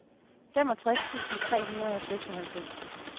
femogtres tusind tre hundrede og seksoghalvfems